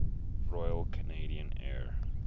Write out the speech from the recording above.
royal canadian air